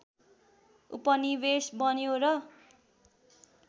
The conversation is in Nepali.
उपनिवेश बन्यो र